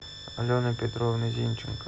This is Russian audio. алены петровны зинченко